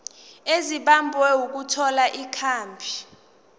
ezimbabwe ukuthola ikhambi